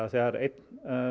þegar einn